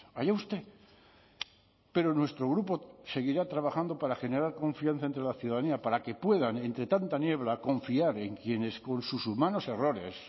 allá usted pero nuestro grupo seguirá trabajando para generar confianza entre la ciudadanía para que puedan entre tanta niebla confiar en quienes con sus humanos errores